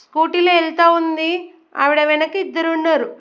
Scooty లో వెళ్తావుంది ఆవిడా వెనుక ఇద్దరు ఉన్నారు.